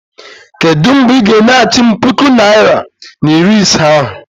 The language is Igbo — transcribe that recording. Kedụ mgbe ị ga- enyeghachi m puku naịra na iri ise ahụ?